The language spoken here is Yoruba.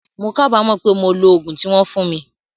Mo kábàámọ̀ pé mo lo ogún tí wón fún mi